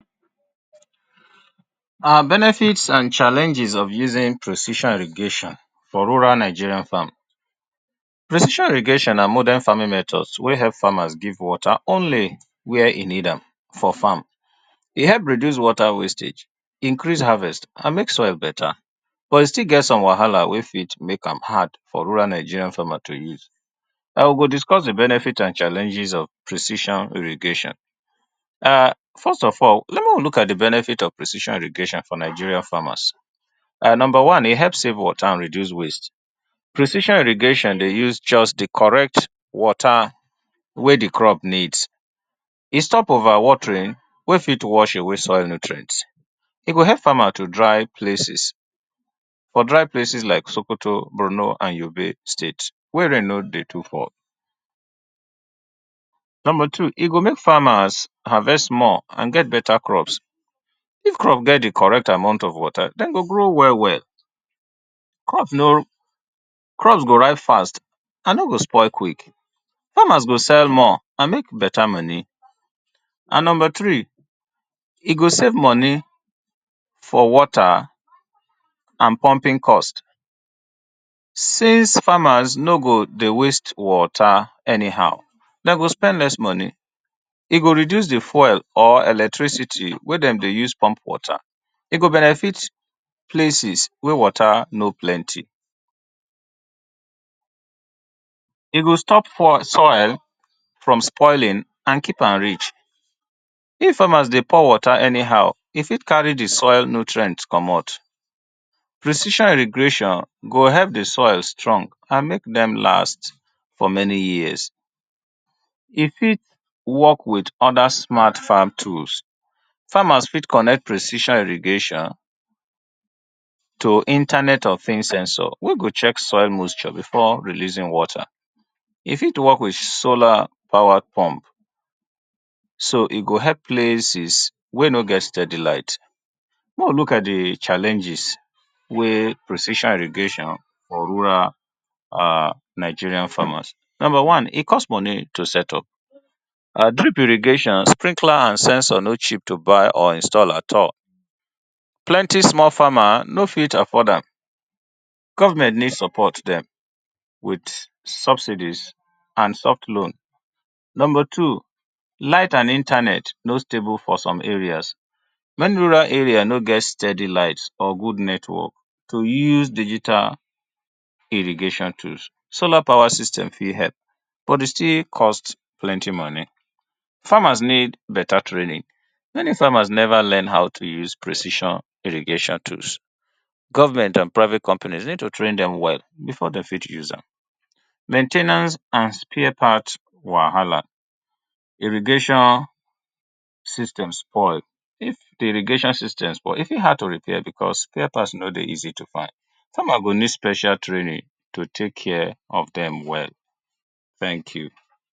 Benefits and challenges of using precision irrigation for rural Nigerian. farm precision irrigation na modern farming methods wey help farmers give water only where e need am for farm e help reduce water, wastage increase harvest and make soil better but e still get some wahala wey fit make am hard for rural Nigerian farmers to use and we go discuss the benefit and challenges of precision irrigation and first of all make we look at the benefit of precision irrigation for Nigerians farmers and number one e help save water and reduce waste precision irrigation dey use just the correct water wey the crop needs e stop over watering wey fit wash away soil nutrient, e go help farmers to dry places for dry places like S okoto and Bornu and Yobe state wey rain no dey too fall number two e go make farmers harvest more and get better crops, if crops get the correct amount of water dem go grow well well crops no crops go rise fast and no go spoil quick farmers go sell more and make better money and number three e go save money for water and pumping cost since farmers no go dey waste water anyhow, dem go spend money e go reduce di fuel or electricity wey dem dey use pump water, e go benefit places wey water no too plenty. E go stop poil, soil from spoiling and keep am rich, if farmers dey pour water anyhow e fit carry di soil nutrient komot. precision irrigation go help di soil strong and make dem last for many years, e fit work with oda smart farm tools, farmers fit connect precision irrigation to internet or censor wey go check soil moisture before releasing water, e fit help with solar light so e go help places wey no get steady light, make we look at di challenges wey precision irrigation for rural Nigerian farmers, number one e cost money to start up, drip irrigation, sprinkler and censor no cheap to buy or install at all, small farmers no fit afford am, government need to support dem with subsidies and soft loans, number two light and internet no stable for some areas many rural areas no get steady light or good internet to use digital, solar power system fit help. But e still cost plenty money, farmers need better training, many farmers never learn how to use precision irrigation tools, government and private company need to train dem well make dem fit use am, main ten ance and spare part wahala, irrigation system spoil, if di irrigation system spoil, e fit hard to repair because spare part dey hard to find, farmer go need special training to take care of dem well, thank you.